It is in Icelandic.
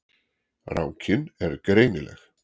Rákin er greinileg.